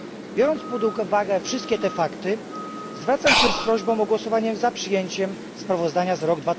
Biorąc pod uwagę wszystkie powyższe fakty, zwracam się z prośbą o głosowanie za przyjęciem sprawozdania za rok